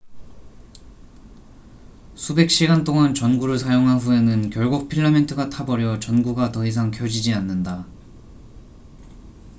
수백 시간 동안 전구를 사용한 후에는 결국 필라멘트가 타버려 전구가 더 이상 켜지지 않는다